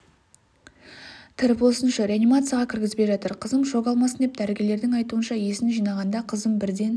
тірі болсыншы реанимацияға кіргізбей жатыр қызым шок алмасын деп дәрігерлердің айтуынша есін жиғанда қызым бірден